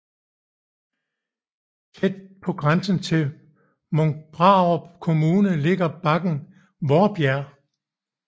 Tæt på grænsen til Munkbrarup Kommune ligger bakken Vaarbjerg